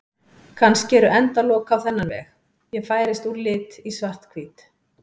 Kannski eru endalok á þennan veg: Ég færist úr lit í svarthvítt.